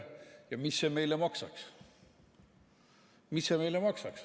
Ja mis see meile maksaks?